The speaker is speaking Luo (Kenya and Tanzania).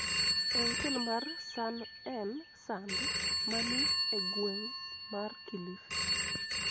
e otel mar Sun N Sand ma ni e gweng� mar Kilifi.